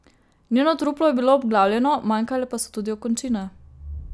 Njeno truplo je bilo obglavljeno, manjkale pa so tudi okončine.